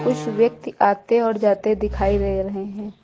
कुछ व्यक्ति आते और जाते दिखाई दे रहे हैं।